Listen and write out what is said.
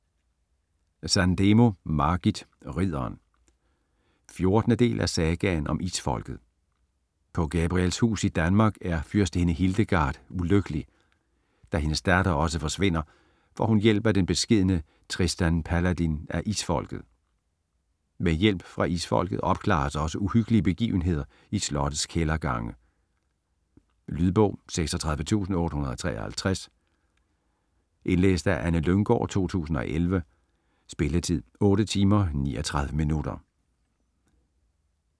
Sandemo, Margit: Ridderen 14. del af Sagaen om Isfolket. På Gabrielshus i Danmark er fyrstinde Hildegard ulykkelig. Da hendes datter også forsvinder, får hun hjælp af den beskedne Tristan Paladin af Isfolket. Med hjælp fra Isfolket opklares også uhyggelige begivenheder i slottes kældergange. Lydbog 36853 Indlæst af Anne Lynggård, 2011. Spilletid: 8 timer, 39 minutter.